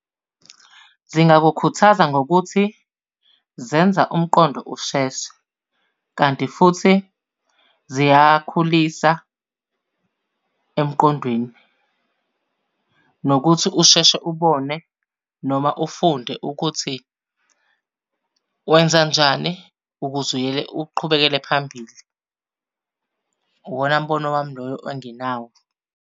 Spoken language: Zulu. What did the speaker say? Zingakukhuthaza ngokuthi zenza umqondo usheshe, kanti futhi ziyakhulisa emqondweni, nokuthi usheshe ubone noma ufunde ukuthi wenzanjani ukuze uqhubekele phambili. Uwona mbono wami loyo enginawo.